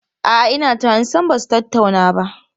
A'a, ina tunanin sam ba su tattauna ba.